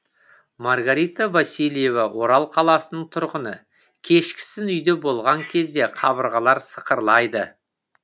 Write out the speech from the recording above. маргарита васильева орал қаласының тұрғыны кешкісін үйде болған кезде қабырғалар сықырлайды